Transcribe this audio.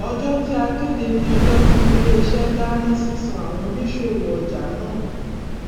ọjọ tí a kéde ni ọjọ tí iléiṣẹ dá ní sísan àwọn òníṣòwò ọjà náà